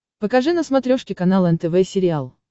покажи на смотрешке канал нтв сериал